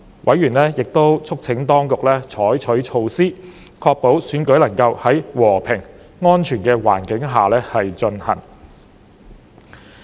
委員亦促請當局採取措施，確保選舉能夠在和平安全的環境下進行。